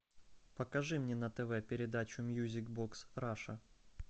покажи мне на тв передачу мьюзик бокс раша